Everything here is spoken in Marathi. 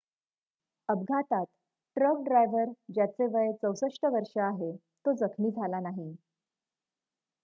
अपघातात ट्रक ड्रायव्हर ज्याचे वय 64 वर्ष आहे तो जखमी झाला नाही